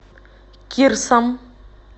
кирсом